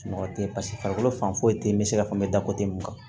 Sunɔgɔ tɛ yen paseke farikolo fan foyi tɛ yen n bɛ se ka fɔ n bɛ da mun kan